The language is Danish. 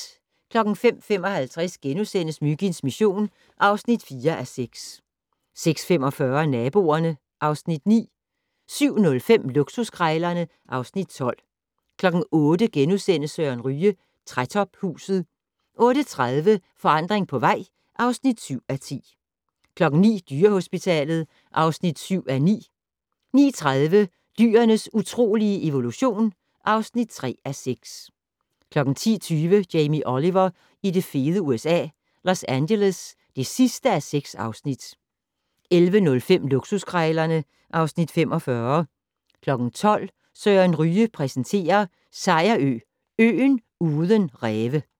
05:55: Myginds mission (4:6)* 06:45: Naboerne (Afs. 9) 07:05: Luksuskrejlerne (Afs. 12) 08:00: Søren Ryge: Trætophuset * 08:30: Forandring på vej (7:10) 09:00: Dyrehospitalet (7:9) 09:30: Dyrenes utrolige evolution (3:6) 10:20: Jamie Oliver i det fede USA - Los Angeles (6:6) 11:05: Luksuskrejlerne (Afs. 45) 12:00: Søren Ryge præsenterer: Sejerø - øen uden ræve